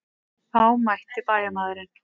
Þá mælti bæjarmaðurinn.